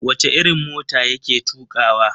Wace irin mota ya ke tukawa?